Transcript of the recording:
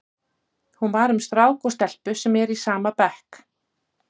Hún var um strák og stelpu sem eru í sama bekk.